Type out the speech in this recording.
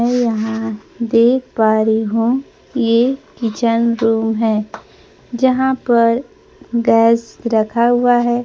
मैं यहां देख पा री हूं ये किचन रूम है जहां पर गैस रखा हुआ है।